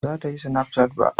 Ba za ta yi sinafcat ba